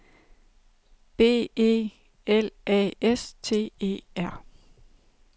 B E L A S T E R